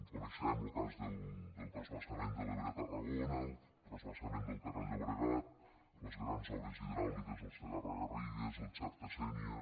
coneixem lo cas del transvasament de l’ebre a tarragona el transvasament del ter al llobregat les grans obres hidràuliques al segarra garrigues el xerta sènia